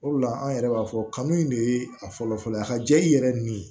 O de la an yɛrɛ b'a fɔ kanu in de ye a fɔlɔfɔlɔ ye a ka jɛ i yɛrɛ nin